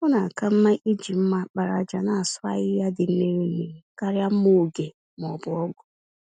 Ọ na-aka mmá iji mma àkpàràjà nasụ ahihia dị mmiri mmiri, karịa mma-ògè m'ọbụ ọ̀gụ̀